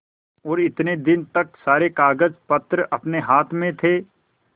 और इतने दिन तक सारे कागजपत्र अपने हाथ में थे